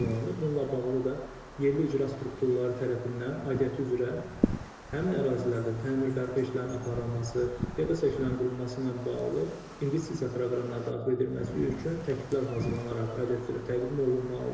Bununla bağlı da yerli icra strukturları tərəfindən aidiyyatı üzrə həmin ərazilərdə təmir bərpa işlərinin aparılması, piyada səkilərinin qurulması ilə bağlı investisiya proqramına daxil edilməsi üçün təkliflər hazırlanaraq aidiyyatı üzrə təqdim olunmalıdır.